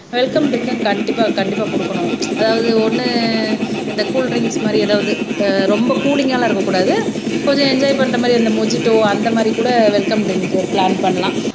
welcome drink கண்டிப்பா கண்டிப்பா கொடுக்கணும் அதாவது ஒண்ணு இந்த கூல் ட்ரிங்க்ஸ் மாதிரி ஏதாவது அஹ் ரொம்ப குளிங்கா எல்லாம் இருக்கக் கூடாது கொஞ்சம் என்ஜாய் பண்ற மாதிரி அந்த மொஜிடோ அந்த மாதிரி கூட வெல்கம் ட்ரிங்க்கு பிளான் பண்ணலாம்